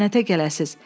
Lənətə gələsiz.